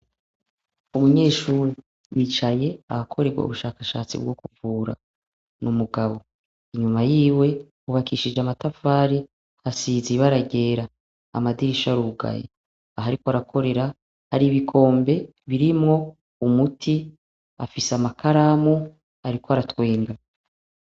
Umunyeshure yicaye ahakorerwa ubushakashatsi bwo kuvura, n'umugabo, inyuma yiwe hubakishije amatafari asize ibara ryera, amadirisha arugaye, aho ariko arakorera hari ibikombe birimwo umuti afise amakaramu ariko aratwenga.